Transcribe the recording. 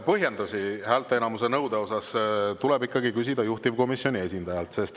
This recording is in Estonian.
Põhjendusi häälteenamuse nõude kohta tuleb ikkagi küsida juhtivkomisjoni esindajalt.